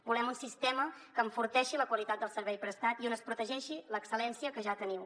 volem un sistema que enforteixi la qualitat del servei prestat i on es protegeixi l’excel·lència que ja teniu